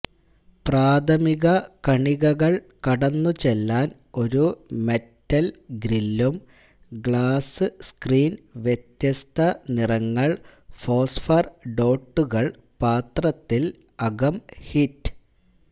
പ്രാഥമിക കണികകൾ കടന്നുപോകുവാൻ ഒരു മെറ്റൽ ഗ്രില്ലും ഗ്ലാസ് സ്ക്രീൻ വ്യത്യസ്ത നിറങ്ങൾ ഫോസ്ഫർ ഡോട്ടുകൾ പാത്രത്തിൽ അകം ഹിറ്റ്